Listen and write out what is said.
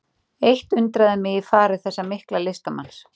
Eitt undraði mig í fari þessa mikla listamanns.